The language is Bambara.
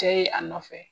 Cɛ ye a nɔfɛ